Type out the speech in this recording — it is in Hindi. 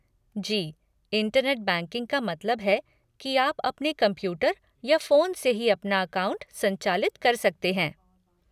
जी, इंटरनेट बैंकिंग का मतलब है कि आप अपने कंप्यूटर या फ़ोन से ही अपना अकाउंट संचालित कर सकते हैं।